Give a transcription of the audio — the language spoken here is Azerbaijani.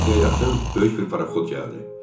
Günortaya yaxın böyük bir paraxod gəldi.